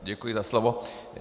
Děkuji za slovo.